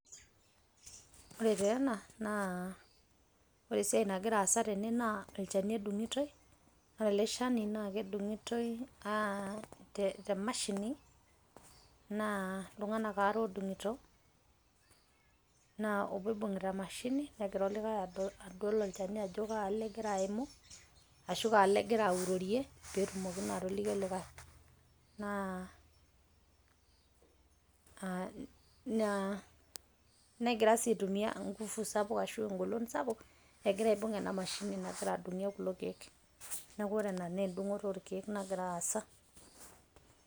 Ore taa ena naa ore esiaai nagira aasa tene naa ilcheni odung'utoio, ore ale sheni naa kedungutoi te mashini naa ltunganak aare oodung'uto naa obo oibung'ta emashini negira ildo likae adol ilsheni ajo kaalo egira aimu ashu kaalo egira aurorie peetumoki naa atoliki likae negira sii aitumiya engufu sapuk ashu engolon sapuk egira aibung' ena mashini nagira adung'ie kulo keek, neaku ore ena naa endung'oto orkeek nagira aasa.